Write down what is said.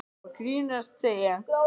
Ég var bara að grínast, segi ég.